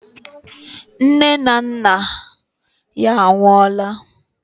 Nne na nna ya anwụọla.